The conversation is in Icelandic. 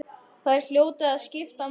Þeir hljóta að skipta máli.